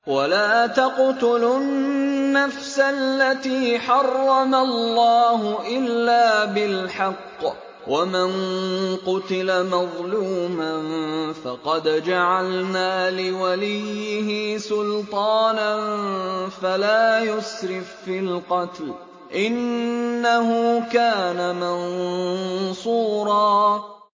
وَلَا تَقْتُلُوا النَّفْسَ الَّتِي حَرَّمَ اللَّهُ إِلَّا بِالْحَقِّ ۗ وَمَن قُتِلَ مَظْلُومًا فَقَدْ جَعَلْنَا لِوَلِيِّهِ سُلْطَانًا فَلَا يُسْرِف فِّي الْقَتْلِ ۖ إِنَّهُ كَانَ مَنصُورًا